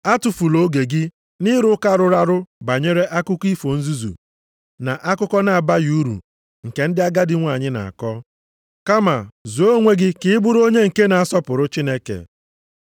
Atụfula oge gị nʼịrụ ụka rụrụ arụ banyere akụkọ ifo nzuzu, na akụkọ na-abaghị uru nke ndị agadi nwanyị na-akọ. Kama zụọ onwe gị ka ị bụrụ onye nke na-asọpụrụ Chineke.